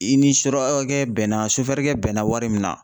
I ni surakakɛ bɛnna sofɛrikɛ bɛnna wari min na